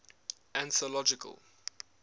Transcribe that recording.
anthological